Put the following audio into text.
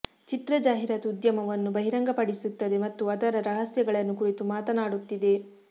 ಚಿತ್ರ ಜಾಹೀರಾತು ಉದ್ಯಮವನ್ನು ಬಹಿರಂಗಪಡಿಸುತ್ತದೆ ಮತ್ತು ಅದರ ರಹಸ್ಯಗಳನ್ನು ಕುರಿತು ಮಾತಾಡುತ್ತಿದೆ